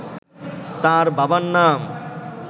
তার বাবার নাম